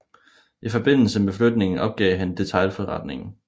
I forbindelse med flytningen opgav han detailforretningen